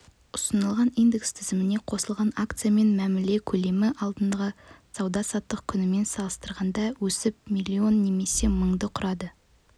ұсынылған индекс тізіміне қосылған акциямен мәміле көлемі алдыңғы сауда-саттық күнімен салыстырғанда өсіп миллион немесе мыңды құрады